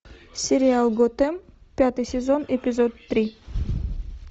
сериал готэм пятый сезон эпизод три